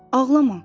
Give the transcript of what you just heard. Ağlama!